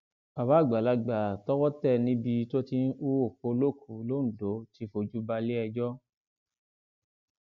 bàbá àgbàlagbà tọwọ tẹ níbi tó ti ń hu òkú olókùú londo ti fojú balẹẹjọ